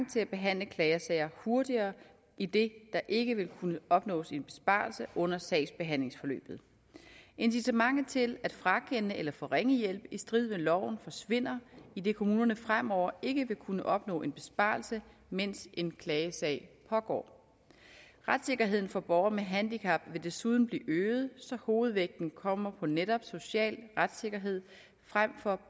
til at behandle klagesager hurtigere idet der ikke vil kunne opnås en besparelse under sagsbehandlingsforløbet incitamentet til at frakende eller forringe hjælp i strid med loven forsvinder idet kommunerne fremover ikke vil kunne opnå en besparelse mens en klagesag pågår retssikkerheden for borgere med handicap vil desuden blive øget så hovedvægten kommer på netop social retssikkerhed frem for